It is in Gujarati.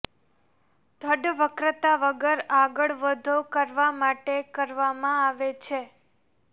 ધડ વક્રતા વગર આગળ વધો કરવા માટે કરવામાં આવે છે